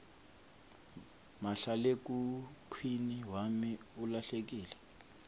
mahlalekhukhwini wami ulahlekile